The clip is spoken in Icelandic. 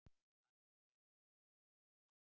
Hann gekk út.